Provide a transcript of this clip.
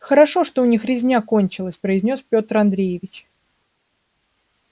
хорошо что у них резня кончилась произнёс пётр андреевич